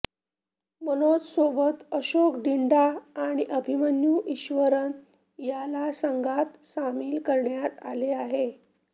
मनोज सोबत अशोक डिंडा आणि अभिमन्यू ईश्वरन याला संघात सामील करण्यात आले आहे